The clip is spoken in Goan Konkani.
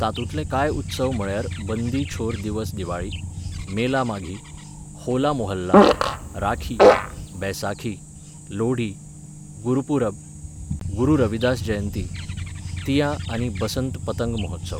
तातूंतले कांय उत्सव म्हळ्यार बंदी छोर दिवस दिवाळी, मेला माघी, होला मोहल्ला, राखी, बैसाखी, लोढी, गुरपूरब, गुरू रविदास जयंती, तियां आनी बसंत पतंग महोत्सव.